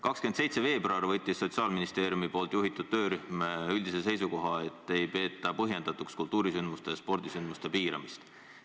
27. veebruaril võttis Sotsiaalministeeriumi juhitud töörühm üldise seisukoha, et ei peeta põhjendatuks kultuurisündmuste ja spordisündmuste piiramist.